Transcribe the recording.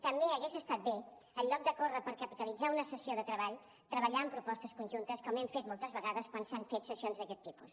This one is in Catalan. també hagués estat bé en lloc de córrer per capitalitzar una sessió de treball treballar en propostes conjuntes com hem fet moltes vegades quan s’han fet sessions d’aquest tipus